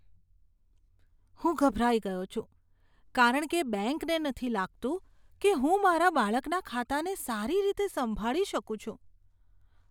હું ગભરાઈ ગયો છું, કારણ કે બેંકને નથી લાગતું કે હું મારા બાળકના ખાતાને સારી રીતે સંભાળી શકું છું.